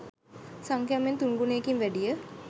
සංඛ්‍යාව මෙන් තුන් ගුණයකින් වැඩිය.